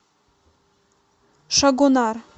шагонар